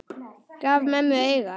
Gaf mömmu auga.